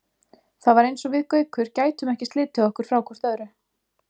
Það var eins og við Gaukur gætum ekki slitið okkur frá hvort öðru.